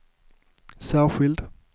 särskild